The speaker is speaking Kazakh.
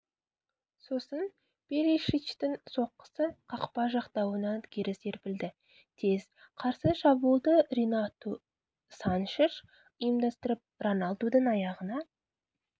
сосын перишичтің соққысы қақпа жақтауынан кері серпілді тез қарсы шабуылды ренату саншеш ұйымдастырып роналдудың аяғына